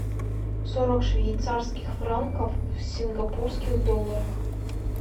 сорок швейцарских франков в сингапурских долларах